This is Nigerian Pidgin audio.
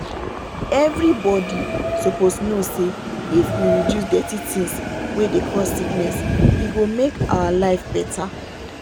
everybody suppose know say if we reduce dirty things wey dey cause sickness e go make our make our life better.